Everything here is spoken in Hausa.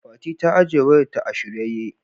Fati ta ajiye wayar ta a shiryayye.